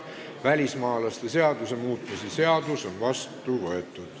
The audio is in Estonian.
Välismaalaste seaduse muutmise seadus on vastu võetud.